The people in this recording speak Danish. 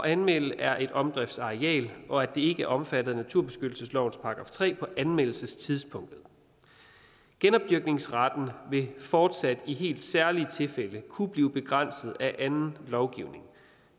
anmelde er et omdriftsareal og at det ikke er omfattet af naturbeskyttelseslovens § tre på anmeldelsestidspunktet genopdyrkningsretten vil fortsat i helt særlige tilfælde kunne blive begrænset af anden lovgivning